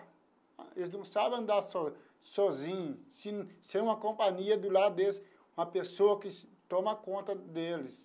Eles não sabem andar so sozinhos, sim sem uma companhia do lado deles, uma pessoa que toma conta deles.